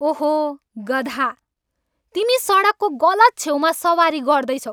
ओहो, गधा। तिमी सडकको गलत छेउमा सवारी गर्दैछौ।